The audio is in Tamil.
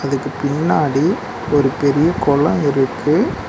இதுக்கு பின்னாடி ஒரு பெரிய கொளோ இருக்கு.